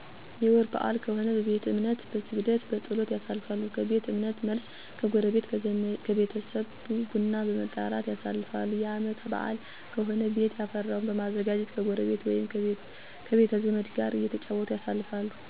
የወር በአል ከሆነ በቤተ እምነት በስግደት፣ በፀሎት፣ ያሳልፋሉ። ከቤተ እምነት መልስ ከጎረቤት ከቤተሰብ ቡና በመጠራራት ያሳልፋሉ። የአመት በአል ከሆነ ቤት የፈራውን በማዘጋጀት ከጎረቤ ወይም ከቤተዘመዱ ጋር እተጫወቱ ያሳልፋሉ።